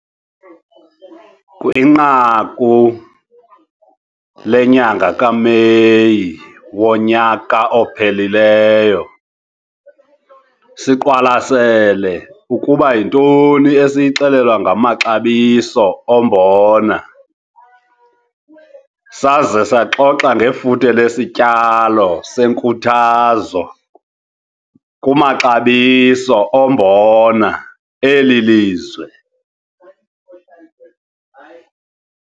Kwinqaku lenyanga kaMeyi wonyaka ophelileyo, siqwalasele ukuba 'Yintoni esiyixelelwa ngamaxabiso ombona' saze saxoxa ngefuthe lesityalo senkuthazo kumaxabiso ombona eli lizwe.